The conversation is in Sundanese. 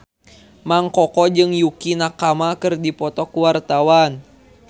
Mang Koko jeung Yukie Nakama keur dipoto ku wartawan